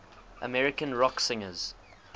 american rock singers